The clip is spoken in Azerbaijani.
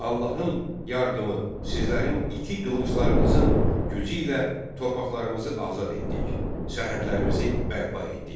Allahın yardımı, sizlərin iti qılınclarınızın gücü ilə torpaqlarımızı azad etdik, sərhədlərimizi bərpa etdik.